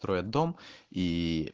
строят дом ии